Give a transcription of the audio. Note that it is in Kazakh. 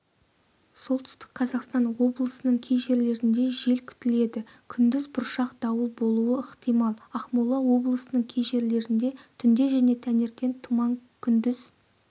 солтүстік қазақстан облысының кей жерлерінде жел күтіледі күндіз бұршақ дауыл болуы ықтимал ақмола облысының кей жерлерінде түнде және таңертен тұман күндіз